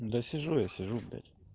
да сижу я сижу блять